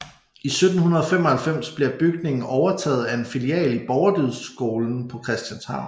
I 1795 blev bygningen overtaget af en filial af Borgerdydskolen på Christianshavn